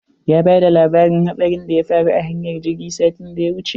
Ya bada labarin hatsarin da ya faru a hanyar jirgi satin da ya wuce.